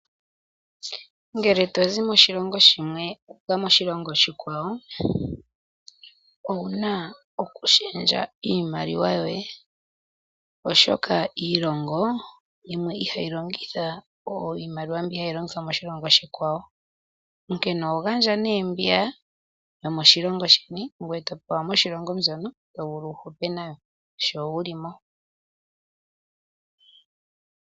Ngele to zi moshilongo shimwe wu uka moshilongo oshikwawo, owu na okushendja iimaliwa yoye, oshoka iilongo yimwe ihayi longitha iimaliwa mbyono hayi longithwa moshilongo oshikwawo. Oho gandja nduno mbiya yomoshilongo shimwe ngoye to pewa yomoshilongo mono to vulu wu hupe nayo sho wu li mo.